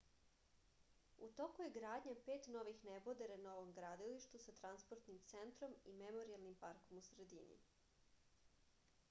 u toku je gradnja pet novih nebodera na ovom gradilištu sa transportnim centrom i memorijalnim parkom u sredini